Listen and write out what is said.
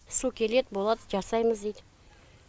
су келеді болады жасаймыз дейді